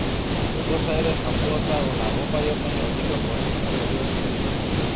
ବ୍ୟବସାୟରେ ସଫଳତା ଓ ଲାଭ ପାଇବା ପାଇଁ ଅଧିକ ପରିଶ୍ରମ କରିବାକୁ ପଡ଼ିବ